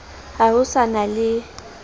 ha ho sa na le